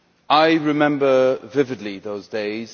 I remember vividly those days.